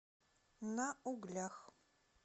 на углях